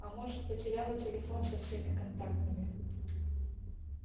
а может потеряла телефон со всеми контактами